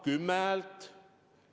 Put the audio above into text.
Kümme häält?